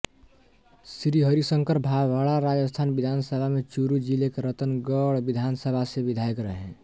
श्री हरिशंकर भाभड़ा राजस्थान विधानसभा में चुरू जिले के रतनगढ़ विधानसभा से विधायक रहे